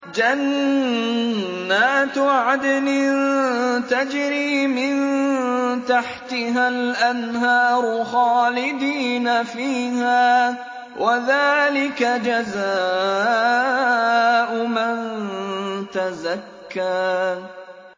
جَنَّاتُ عَدْنٍ تَجْرِي مِن تَحْتِهَا الْأَنْهَارُ خَالِدِينَ فِيهَا ۚ وَذَٰلِكَ جَزَاءُ مَن تَزَكَّىٰ